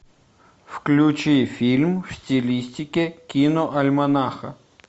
включи фильм в стилистике киноальманаха